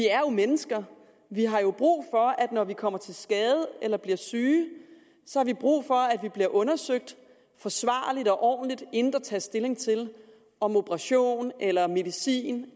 mennesker vi har jo brug for at vi når vi kommer til skade eller bliver syge bliver undersøgt forsvarligt og ordentligt inden der tages stilling til om operation eller medicin